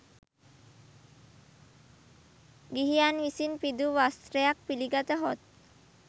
ගිහියන් විසින් පිදූ වස්ත්‍රයක් පිළිගතහොත්